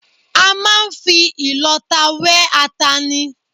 A máa ń fi ìlọta wẹ́ ata ni